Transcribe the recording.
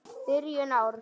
Byrjun árs.